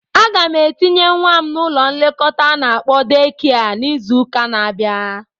Aga m etinye nwa m n'ụlọ nlekọta a na-akpọ deekia n'izụka n'abia.